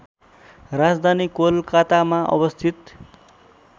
राजधानी कोलकातामा अवस्थित